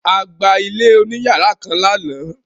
A gba ilé oníyàrá kan lánàá.